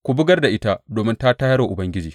Ku bugar da ita domin ta tayar wa Ubangiji.